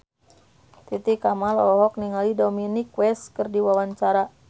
Titi Kamal olohok ningali Dominic West keur diwawancara